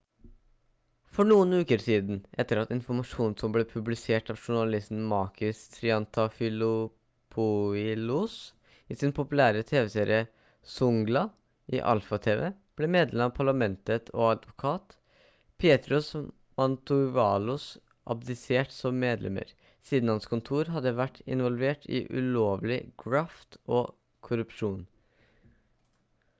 for noen uker siden etter at informasjonen som ble publisert av journalisten makis triantafylopoilos i sin populære tv-serie «zoungla» i alpha tv ble medlem av parlamentet og advokat petros mantouvalos abdisert som medlemmer siden hans kontor hadde vært involvert i ulovlig graft og korrupsjon